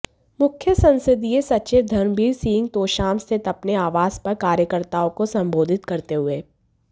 मुख्य संसदीय सचिव धर्मबीर सिंह तोशाम स्थित अपने आवास पर कार्यकर्ताओं को संबोधित करते हुए